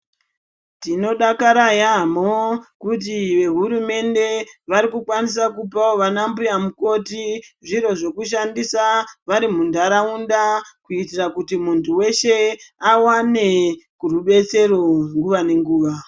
Tinodakara yaamho kuti vehurumende vari kukwanisa kupavo vana mbuya mukoti zviro zvekushandisa vari muntaraunda. Kuitira kuti muntu veshe avane rubetsero nguva nenguva.